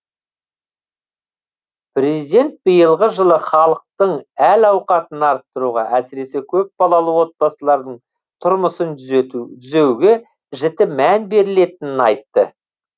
президент биылғы жылы халықтың әл ауқатын арттыруға әсіресе көпбалалы отбасылардың тұрмысын түзеуге жіті мән берілетінін айтты